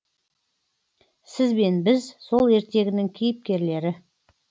сіз бен біз сол ертегінің кейіпкерлері